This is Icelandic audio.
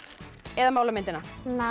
eða mála myndina